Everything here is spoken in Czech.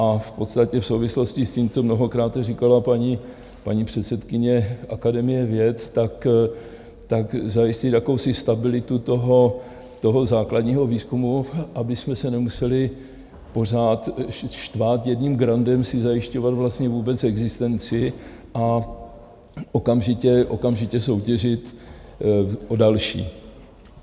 A v podstatě v souvislosti s tím, co mnohokrát říkala paní předsedkyně Akademie věd, tak zajistit jakousi stabilitu toho základního výzkumu, abychom se nemuseli pořád štvát jedním grantem si zajišťovat vlastně vůbec existenci a okamžitě soutěžit o další.